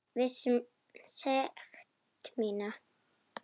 Viss um sekt mína.